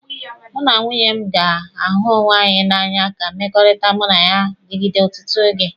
Mụ na nwunye m ga-ahụ onwe anyị n'anya ka mmekọrịta mụ na ya digide ọtụtụ oge.